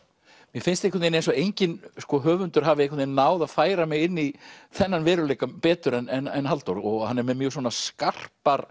mér finnst einhvern veginn eins og enginn höfundur hafi náð að færa mig inn í þennan veruleika betur en Halldór hann er með mjög svona skarpar